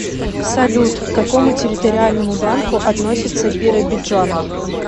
салют к какому территориальному банку относится биробиджан